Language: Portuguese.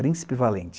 Príncipe Valente.